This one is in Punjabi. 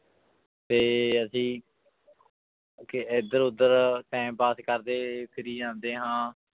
ਤੇ ਅਸੀਂ ਕਿ ਇੱਧਰ ਉੱਧਰ time pass ਕਰਦੇ ਫਿਰੀ ਜਾਂਦੇ ਹਾਂ।